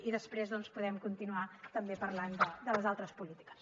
i després doncs podem continuar també parlant de les altres polítiques